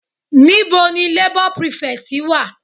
Níbo ni labour prefect wà?